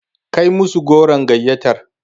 Kai musu goron gayyatar.